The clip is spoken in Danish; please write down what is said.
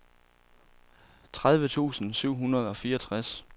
tredive tusind syv hundrede og fireogtres